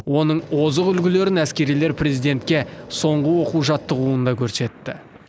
оның озық үлгілерін әскерилер президентке соңғы оқу жаттығуында көрсетті